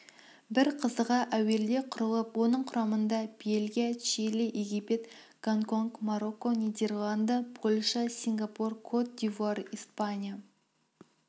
бір қызығы әуелде құрылып оның құрамында бельгия чили египет гонконг марокко нидерланды польша сингапур кот-дивуар испания